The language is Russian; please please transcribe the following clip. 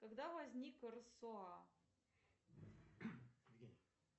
когда возник рсоа